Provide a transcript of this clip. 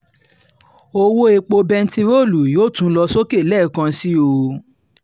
ọ̀wọ́ epo bẹntiróòlù yóò tún lọ sókè lẹ́ẹ̀kan sí i o